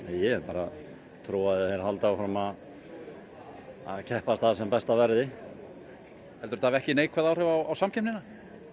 ég hef bara trú á að þeir haldi áfram að keppast að sem bestu verði heldurðu að þetta hafi ekki neikvæð áhrif á samkeppnina